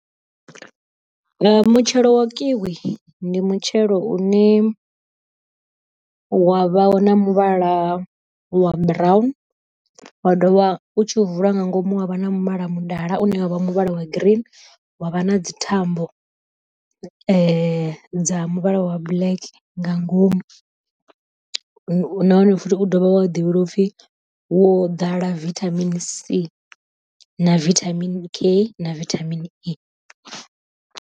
Mutshelo wa kiwi ndi mutshelo une wavha wo na muvhala wa brown, wa ḓovha u tshi u vula nga ngomu ha vha na muvhala mudala une wavha muvhala wa green wa vha na dzi thambo dza muvhala wa black nga ngomu, nahone futhi u ḓovha wa ḓivhelwa upfhi wo dala vithamini C na vithamini K na vithamini E.